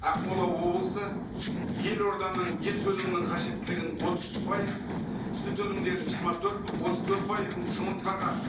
ақмола облысы елорданың ет өнімнің қажеттілігін отыз үш пайыз сүт өнімдерін жиырма төрт отыз төрт пайызын жұмыртқаға